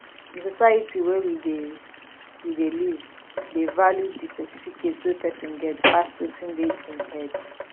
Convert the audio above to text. di society wey we dey we dey live dey value di certificate wey person get pass wetin dey im head